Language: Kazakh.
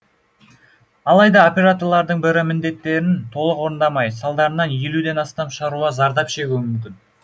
алайда операторлардың бірі міндеттерін толық орындамай салдарынан елуден астам шаруа зардап шегуі мүмкін